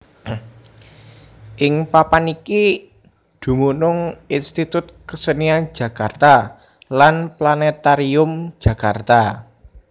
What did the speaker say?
Ing papan iki dumunung Institut Kesenian Jakarta lan Planètarium Jakarta